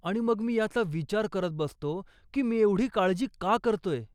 आणि मग मी याचा विचार करत बसतो की मी एवढी काळजी का करतोय.